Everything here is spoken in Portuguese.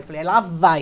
Eu falei, ela vai.